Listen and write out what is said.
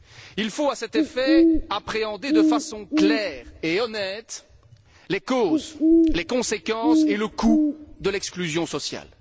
Il faut à cet effet appréhender de façon claire et honnête les causes, les conséquences et le coût de l'exclusion sociale.